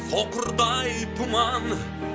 соқырдай тұман